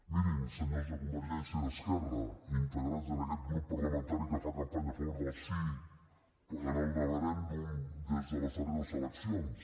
mirin senyors de convergència i esquerra integrats en aquest grup parlamentari que fa campanya a favor del sí en el neverèndum des de les darreres eleccions